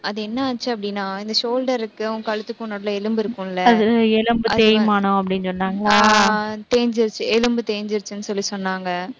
அது என்னாச்சு அப்படின்னா இந்த shoulder க்கும் அவங்க கழுத்துக்கு எலும்பு இருக்கும்ல, எலும்பு தேய்மானம் அப்படின்னு சொன்னாங்க, தேய்ஞ்சிருச்சு, எலும்பு தேய்ஞ்சிருச்சுன்னு சொல்லிச் சொன்னாங்க